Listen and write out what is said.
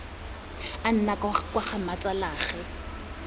a nna kwa ga mmatsalaagwe